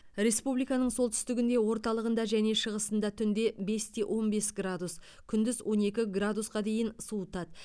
республиканың солтүстігінде орталығында және шығысында түнде бес те он бес градус күндіз он екі градусқа дейін суытады